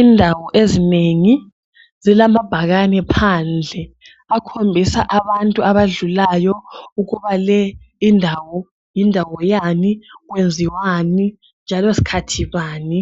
Indawo ezinengi zilamabhakani phandle akhombisa abantu abadlulayo ukuba leyi yindawo indawo yani kwenziwani njalo sikhathi bani